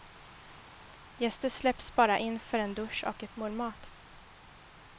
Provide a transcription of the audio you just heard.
Gäster släpps bara in för en dusch och ett mål mat.